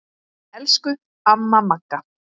Elsku amma Magga.